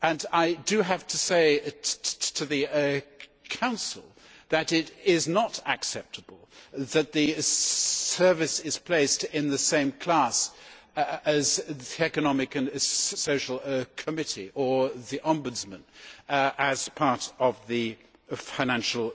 I have to say to the Council that it is not acceptable that the service is placed in the same class as the Economic and Social Committee or the Ombudsman as part of the Financial